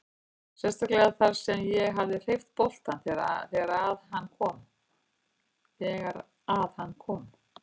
Sérstaklega þar sem að ég hreyfði boltann þegar að hann kom.